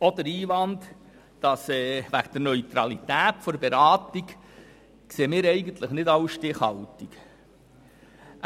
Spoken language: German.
Auch den Einwand wegen der Neutralität der Beratung sehen wir als nicht stichhaltig an.